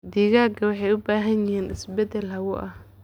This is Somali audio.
Digaagga waxay u baahan yihiin isbeddel hawo ah.